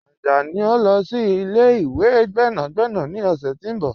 Ajani n lọ sí ilẹ̀-ìwé gbẹ́nàgbẹ̀nà ni ọ̀ṣẹ̀ ti n bọ̀.